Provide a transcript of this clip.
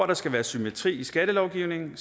der skal være symmetri i skattelovgivningen